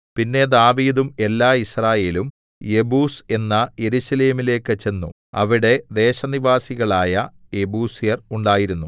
പിന്നെ ദാവീദും എല്ലാ യിസ്രായേലും യെബൂസ് എന്ന യെരൂശലേമിലേക്കു ചെന്നു അവിടെ ദേശനിവാസികളായ യെബൂസ്യർ ഉണ്ടായിരുന്നു